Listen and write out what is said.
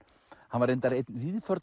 hann var reyndar einn